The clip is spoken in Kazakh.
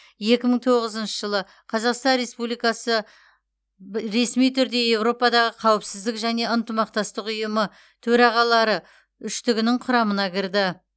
екі мың тоғызыншы жылы қазақстан республикасы б ресми түрде еуропадағы қауіпсіздік және ынтымақтастық ұйымы төрағалары үштігінің құрамына кірді